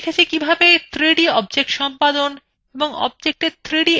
আমরা শিখেছি কিভাবে 3d objects সম্পাদন এবং objectswe 3d effects প্রয়োগ করা যায়